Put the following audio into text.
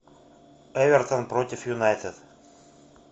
эвертон против юнайтед